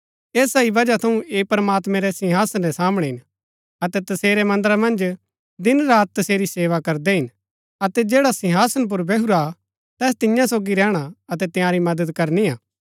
ऐसा ही वजह थऊँ ऐह प्रमात्मैं रै सिंहासन रै सामणै हिन अतै तसेरै मन्दरा मन्ज दिनरात तसेरी सेवा करदै हिन अतै जैडा सिंहासन पुर बैहुरा हा तैस तियां सोगी रैहणा अतै तंयारी मदद करनी हा